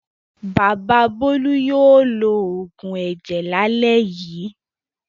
Bàbá Bólú yóò lo òògùn ẹ̀jẹ̀ lálẹ́ yìí.